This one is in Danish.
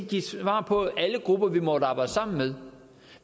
give svar på alle grupper vi måtte arbejde sammen med